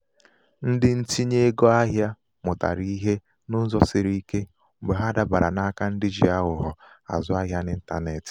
ndị um ntinye ego ahịa mụtara ihe n'ụzọ siri um ike mgbe ha dabara n'aka ndị ji aghụghọ azụ ahịa n'intanetị.